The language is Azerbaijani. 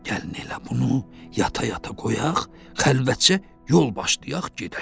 Gəlin elə bunu yata-yata qoyaq, xəlvətcə yol başlayaq gedək.